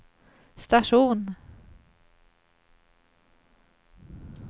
station